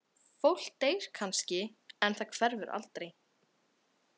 Fólk deyr kannski en það hverfur aldrei.